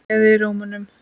Gleði í rómnum.